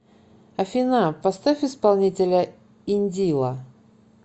афина поставь исполнителя индила